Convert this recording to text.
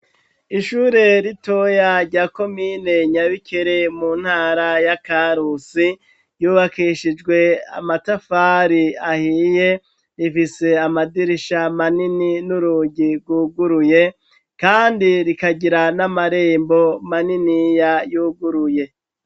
Ishure ritoya rya komine Nyabikere mu ntara ya Karusi ,yubakishijwe amatafari ahiye, rifise amadirisha manini n'urugi rwuguruye, kandi rikagira n'amarembo maniniya yuguruye